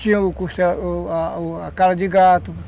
Tinha a cara de gato.